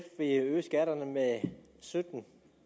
øge skatterne med sytten